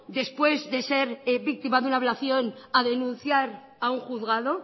después de ser víctima de una violación a denunciar a un juzgado